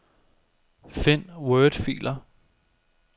Find wordfiler.